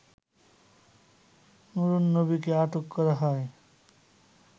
নুরুন্নবীকে আটক করা হয়